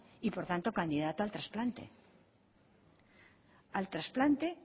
y por tanto candidato al trasplante al trasplante